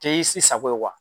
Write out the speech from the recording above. Cɛ i si sago ye